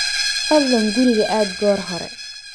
Fadlan guriga aad goor hore